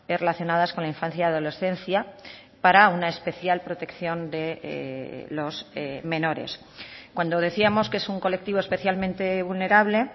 relacionadas con la infancia y adolescencia para una especial protección de los menores cuando decíamos que es un colectivo especialmente vulnerable